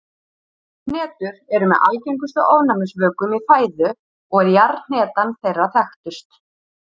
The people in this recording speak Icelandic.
Hnetur eru með algengustu ofnæmisvökum í fæðu og er jarðhnetan þeirra þekktust.